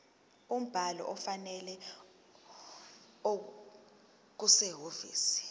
umbhalo ofanele okusehhovisi